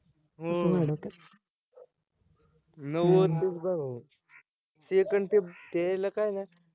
हम्म नौवदला second ते त्याला काय नाय